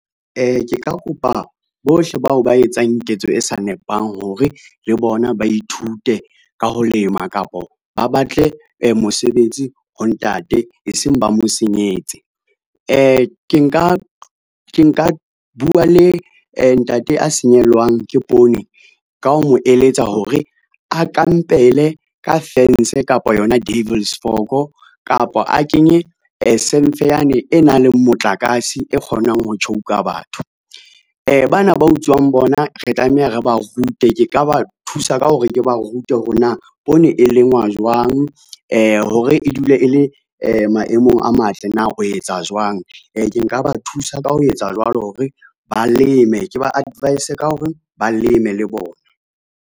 Ke ka kopa bohle bao ba etsang ketso e sa nepang hore le bona ba ithute ka ho lema kapo ba batle mosebetsi ho ntate e seng ba mo senyetse. Ke nka bua le ntate a senyehelwang ke poone ka ho mo eletsa hore a kampele ka fence kapa yona devils fork kapa a kenye semfe yane e nang le motlakase e kgonang ho tjhouka batho. Bana ba utswang bona re tlameha re ba rute, ke ka ba thusa ka hore ke ba rute hore na poone e lengwa jwang, hore e dule e le maemong a matle na o etsa jwang. Ke nka ba thusa ka ho etsa jwalo hore ba leme ke ba advice ka hore ba leme le bona.